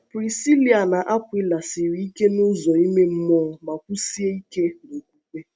Prisíla na Akwịla siri ike n’ụzọ ìmè mmụọ ma kwụsie ike n’okwukwe.